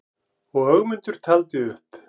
Og Ögmundur taldi upp: